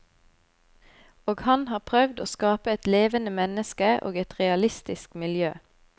Og han har prøvd å skape et levende menneske og et realistisk miljø.